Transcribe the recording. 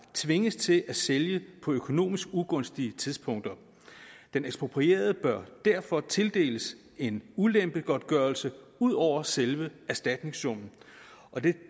tvinges til at sælge på økonomisk ugunstige tidspunkter den eksproprierede bør derfor tildeles en ulempegodtgørelse ud over selve erstatningssummen og det